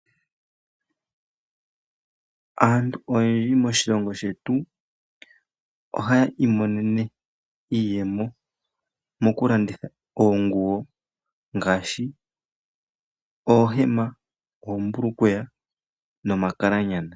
Aantu oyendji moshilongo shetu ohayi imonene iiyemo mokulanditha oonguwo ngaashi oohema, oombulukweya nomakalanyana.